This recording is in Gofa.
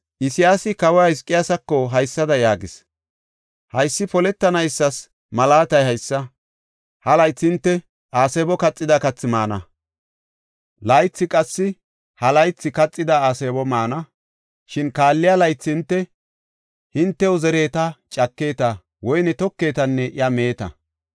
Isayaasi kawa Hizqiyaasako haysada yaagis; “Haysi poletanaysas malaatay haysa; ha laythi hinte aasebo kaxida kathi maana; laythi qassi ha laythi kaxida aasebo maana. Shin kaalliya laythi hinte, hintew zeritenne cakite; woyne tokitenne iya miite.